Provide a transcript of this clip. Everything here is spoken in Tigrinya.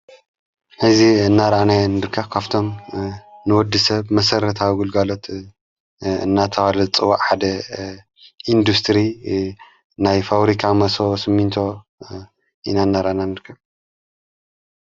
ሕዚ እናራና ንርካ ካፍቶም ንወዲ ሰብ መሠረትወጕልጋሎት እናተዋለ ጽዋ ሓደ ኢንዱስትሪ ናይ ፋውሪካ መሶ ስምንቶ ኢናነራና ንርከብ።